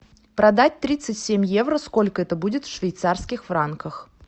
продать тридцать семь евро сколько это будет в швейцарских франках